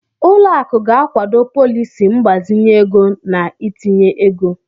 Ụlọ akụ ga-akwado pọliisi mgbazinye ego na itinye ego.